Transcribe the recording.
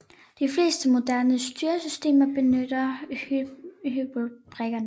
De fleste moderne styresystemer benytter hybridkerner